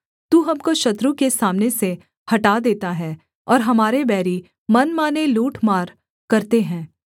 तू हमको शत्रु के सामने से हटा देता है और हमारे बैरी मनमाने लूट मार करते हैं